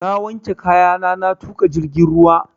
Na wanke kayana na tuƙa jirgin ruwa